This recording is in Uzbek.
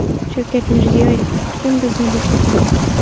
Shavkat Mirziyoyev: Kim bizni boqadi?